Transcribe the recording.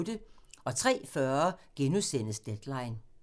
03:40: Deadline *